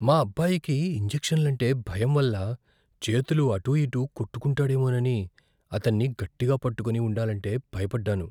మా అబ్బాయికి ఇంజెక్షన్లంటే భయం వల్ల చేతులు అటూఇటూ కొట్టుకుంటాడేమోనని అతన్ని గట్టిగా పట్టుకొని ఉండాలంటే భయపడ్డాను.